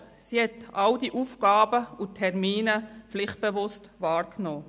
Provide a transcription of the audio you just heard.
Sie hat alle Aufgaben und Termine pflichtbewusst wahrgenommen.